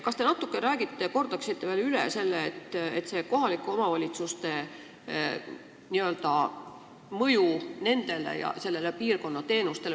Kas te natuke selgitaksite eelnõu mõju kohalike omavalitsuste teenustele piirkonnas?